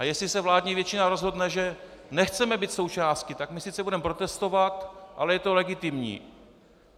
A jestli se vládní většina rozhodne, že nechceme být součástí, tak my sice budeme protestovat, ale je to legitimní.